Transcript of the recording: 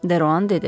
Deruan dedi.